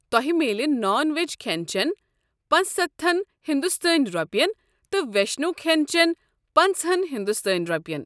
تۄہہِ میلہِ نان وٮ۪ج کھٮ۪ن چٮ۪ن پانٛژ سَتتھن ہنٛدوستٲنۍ رۄپین، تہٕ وشنٕوِ کھٮ۪ن چٮ۪ن پنژہَن ہندوستٲنۍ رۄپین۔